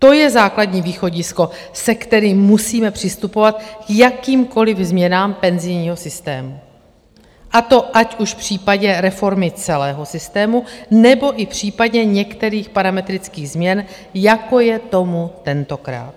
To je základní východisko, se kterým musíme přistupovat k jakýmkoliv změnám penzijního systému, a to ať už v případě reformy celého systému, nebo i v případě některých parametrických změn, jako je tomu tentokrát.